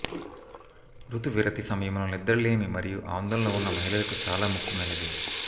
రుతువిరతి సమయంలో నిద్రలేమి మరియు ఆందోళన ఉన్న మహిళలకు చాలా ముఖ్యమైనది